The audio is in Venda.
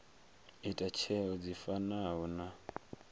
ita tsheo dzi fanaho na